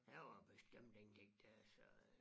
Der var bestemt ingenting dér så øh